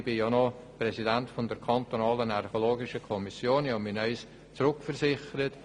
Als Präsident der kantonalen archäologischen Kommission habe ich noch einmal Rücksprache genommen.